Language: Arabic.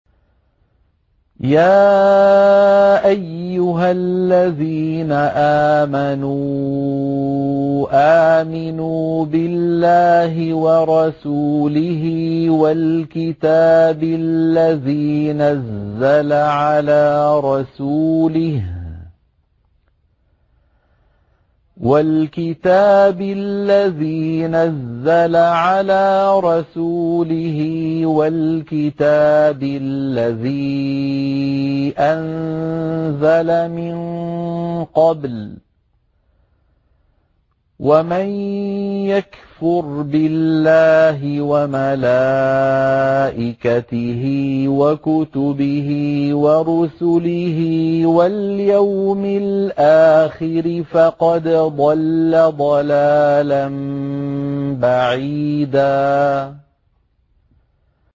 يَا أَيُّهَا الَّذِينَ آمَنُوا آمِنُوا بِاللَّهِ وَرَسُولِهِ وَالْكِتَابِ الَّذِي نَزَّلَ عَلَىٰ رَسُولِهِ وَالْكِتَابِ الَّذِي أَنزَلَ مِن قَبْلُ ۚ وَمَن يَكْفُرْ بِاللَّهِ وَمَلَائِكَتِهِ وَكُتُبِهِ وَرُسُلِهِ وَالْيَوْمِ الْآخِرِ فَقَدْ ضَلَّ ضَلَالًا بَعِيدًا